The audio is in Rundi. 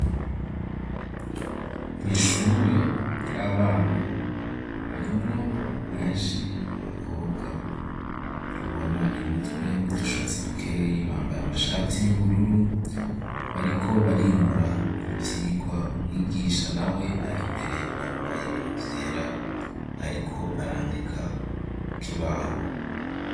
Mw'ishure ry'abana, harimwo benshi ni abakobwa ubona imitwe n'udushatsi dukeyi, bambaye amashati y'ubururu, bariko barimura ivyigwa; umwigisha nawe ari imbere yambaye ibintu vyera, ariko arandika ku kibaho.